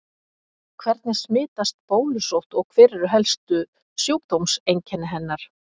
Hvernig smitast bólusótt og hver eru helstu sjúkdómseinkenni hennar?